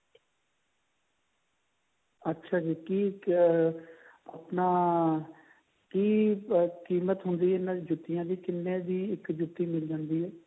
ਅੱਛਾ ਜੀ ਕਿ ਅਹ ਆਪਣਾ ਕਿ ਕੀਮਤ ਹੁੰਦੀ ਹੈ ਜੁੱਤੀਆਂ ਦੀ ਕਿੰਨੇ ਦੀ ਇੱਕ ਜੁੱਤੀ ਮਿਲ ਜਾਂਦੀ ਹੈ